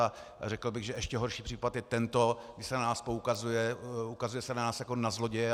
A řekl bych, že ještě horší případ je tento, kdy se na nás poukazuje, ukazuje se na nás jako na zloděje.